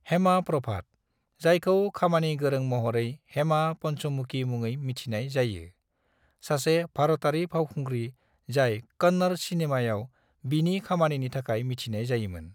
हेमा प्रभात, जायखौ खामानि गोरों महरै हेमा पंचमुखी मुङै मिथिनाय जायो, सासे भारतारि फावखुंग्रि जाय कन्नड़ सिनेमाआव बिनि खामानिनि थाखाय मिथिनाय जायोमोन।